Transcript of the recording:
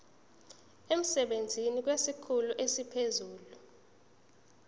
emsebenzini kwesikhulu esiphezulu